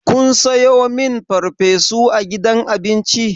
Kun sayo min farfesu a gidan abinci?